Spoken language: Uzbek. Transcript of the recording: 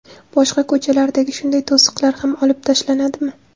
Boshqa ko‘chalardagi shunday to‘siqlar ham olib tashlanadimi?